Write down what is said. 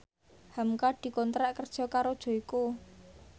hamka dikontrak kerja karo Joyko